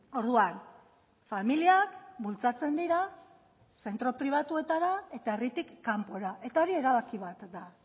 orduan familiak bultzatzen dira zentro pribatuetara eta herritik kanpora eta hori erabaki bat da